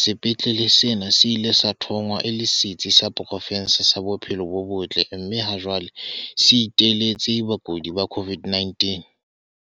sepetlele sena se ile sa thongwa e le setsi sa pro fense sa bophelo bo botle mme ha jwale se iteletse bakudi ba COVID-19.